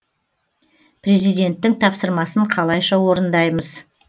президенттің тапсырмасын қалайша орындаймыз